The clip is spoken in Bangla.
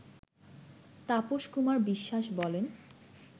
তাপস কুমার বিশ্বাসবলেন